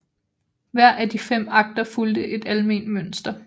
Hver af de fem akter fulgte et alment mønster